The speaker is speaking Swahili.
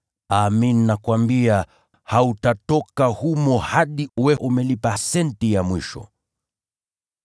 Amin, nakuambia, hautatoka humo hadi uwe umelipa senti ya mwisho.